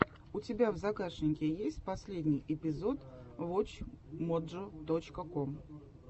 у тебя в загашнике есть последний эпизод вотч моджо точка ком